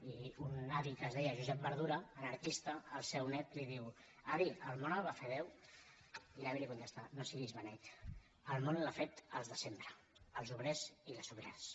i a un avi que es deia josep verdura anarquista el seu nét li diu avi el món el va fer déu i l’avi li contesta no siguis beneit el món l’han fet els de sempre els obrers i les obreres